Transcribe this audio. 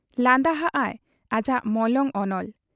ᱞᱟᱸᱫᱟ ᱦᱟᱜ ᱟᱭ ᱟᱡᱟᱜ ᱢᱚᱞᱚᱝ ᱚᱱᱚᱞ ᱾